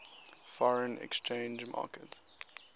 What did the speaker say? foreign exchange market